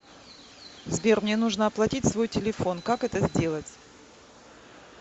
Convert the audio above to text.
сбер мне нужно оплатить свой телефон как это сделать